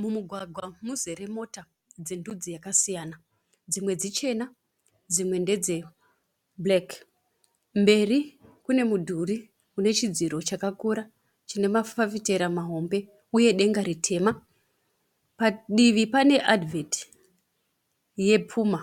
Mumugwagwa muzere mota dzendudzi dzakasiyana. Dzimwe dzichena dzimwe ndedzebhureki. Mberi kune mudhuri une chidziro chakakura chine mafafitera mahombe uye denga ritema. Padivi pane adhivheti yePuma